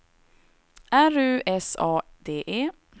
R U S A D E